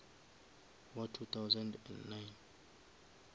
wa two thousand and nine